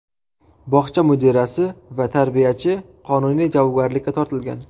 Bog‘cha mudirasi va tarbiyachi qonuniy javobgarlikka tortilgan.